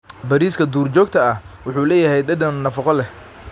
Bariiska duurjoogta ah wuxuu leeyahay dhadhan nafaqo leh.